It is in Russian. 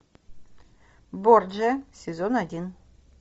борджиа сезон один